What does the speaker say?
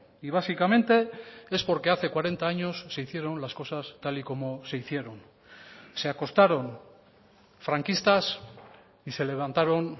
y básicamente es porque hace cuarenta años se hicieron las cosas tal y como se hicieron se acostaron franquistas y se levantaron